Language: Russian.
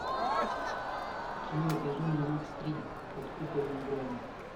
кино безумный макс три под куполом грома